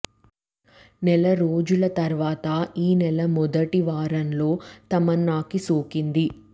నెల రోజుల తర్వాత ఈ నెల మొదటి వారంలో తమన్నాకి సోకింది